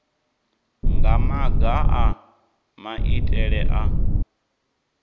nga maga a maitele a